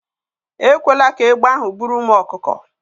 Ekwela ka egbe ahụ buru ụmụ ọkụkọ